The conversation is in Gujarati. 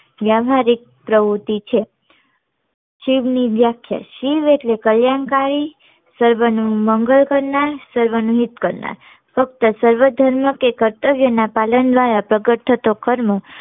વ્યવારિક પ્રવૃત્તિ છે શિવ ની વ્યાખ્યા શિવ એટલે કલ્યાણકારી સર્વ નું મંગલ કરનાર સર્વ નું હિત કરનાર ફક્ત સર્વ ધર્મ કે કર્તવ્ય ના પાલન દ્વારા પ્રગટ થતો કર્મો